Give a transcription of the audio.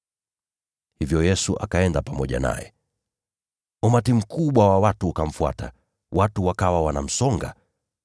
Hivyo Yesu akaenda pamoja naye. Umati mkubwa wa watu ukamfuata, nao watu wakawa wanamsonga.